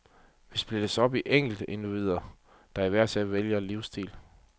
Vi splittes op i enkeltindivider, der hver især vælger livsstil.